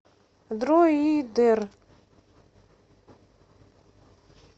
дроидер